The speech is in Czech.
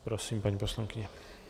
Prosím, paní poslankyně.